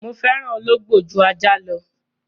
Mo fẹ́ràn ológbò ju ajá lọ.